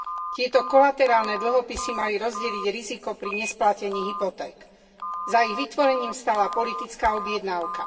Tieto kolaterálne dlhopisy mali rozdeliť riziko pri nesplatení hypoték. Za ich vytvorením stála politická objednávka.